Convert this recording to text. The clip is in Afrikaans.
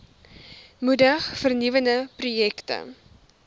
moedig vernuwende projekte